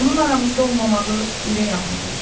Onun aramızda olmamağı ürək ağrıdır.